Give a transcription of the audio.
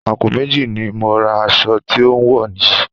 Àpò méjì ni mo ra aṣọ tí ò ń wò yìí